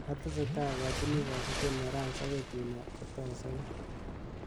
Atesetai akojini kasubet Morans akoi tun kotasabei.